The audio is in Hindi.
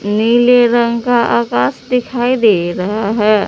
नीले रंग का आकाश दिखाई दे रहा है।